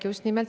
Aitäh!